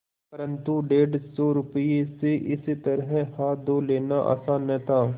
परन्तु डेढ़ सौ रुपये से इस तरह हाथ धो लेना आसान न था